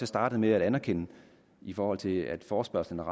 startede med at anerkende i forhold til at forespørgselen er